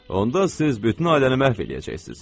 Onda siz bütün ailəni məhv eləyəcəksiniz.